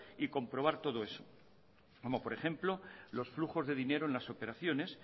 y comprobar todo eso como por ejemplo los flujos de dinero en las operaciones